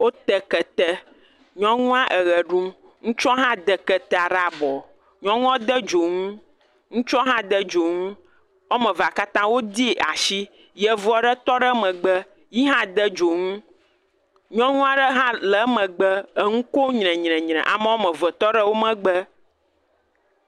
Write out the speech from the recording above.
Wote kete, nyɔnua eʋe ɖum, ŋutsua hã de keta ɖe abɔ, nyɔnua de dzonu, ŋutsua hã de dzonu, woame evea katã wodii atsi, yevu aɖe tɔ ɖe megbe, yi hã de dzonu, nyɔnu aɖe hã le emegbe, eŋu kom nyrenyrenyre, ame woame eve tɔ ɖe wo megbe.